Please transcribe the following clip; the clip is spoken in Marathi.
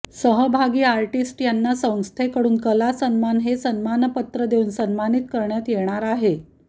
सहभागी आर्टीस्ट यांना संस्थेकडून कलासन्मान हे सन्मानपत्र देऊन सन्मानित करण्यात येणार आहे